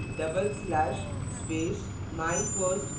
type करें double slash // space